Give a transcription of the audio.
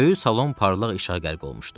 Böyük salon parlaq işığa qərq olmuşdu.